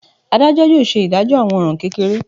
Adajọ yóò ṣe idajọ awọn ọran kekere.